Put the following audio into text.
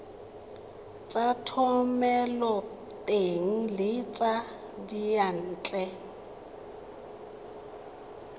tsa thomeloteng le tsa diyantle